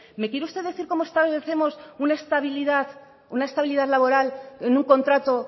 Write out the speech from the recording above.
me quiere usted decir cómo establecemos una estabilidad laboral en un contrato